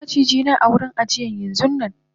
sakamun maciji na a cikin wurin ajiyan yanxunnanm